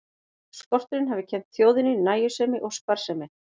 Skorturinn hafi kennt þjóðinni nægjusemi og sparsemi.